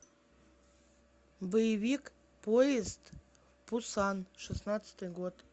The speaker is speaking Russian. боевик поезд в пусан шестнадцатый год